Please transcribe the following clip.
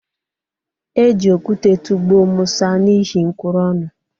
E ji okute tụgbuo Musa n’ihi nkwuru ọnụ